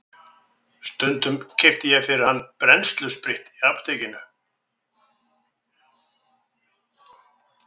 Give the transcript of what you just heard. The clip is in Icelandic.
Stundum keypti ég fyrir hann brennsluspritt í apótekinu.